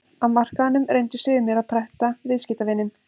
Á markaðnum reyndu sumir að pretta viðskiptavininn.